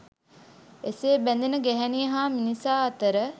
එසේ බැඳෙන ගැහැණිය හා මිනිසා අතර